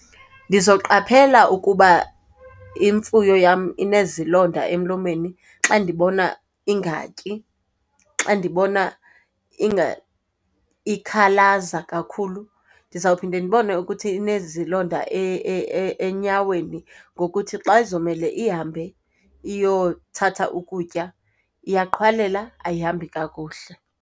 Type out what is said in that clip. Ndizoqaphela ukuba imfuyo yam inezilonda emlomeni xa ndibona ingatyi, xa ndibona ikhalaza kakhulu. Ndizawuphinda ndibone ukuthi inezilonda enyaweni ngokuthi xa izomele ihambe iyothatha ukutya iyaqhwalela, ayihambi kakuhle.